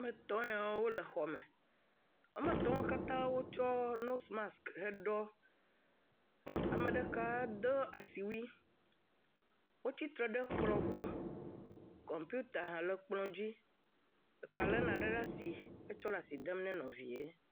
Ame etɔ̃ yawo le xɔme. Woame etɔ̃ katã wotsɔ nosimas heɖɔ. Ame ɖeka de asiwui. Wotsi tre ɖe kplɔ̃ gbɔ. Kɔmpita le kplɔ̃ dzi. Ɖeka lé nane ɖe asi tsɔ le asi dem na nɔvia.